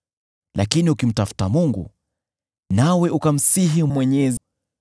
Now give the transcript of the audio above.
Lakini ukimtafuta Mungu, nawe ukamsihi Mwenyezi,